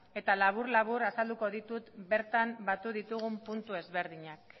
eta labur labur azalduko ditut bertan batu ditugun puntu ezberdinak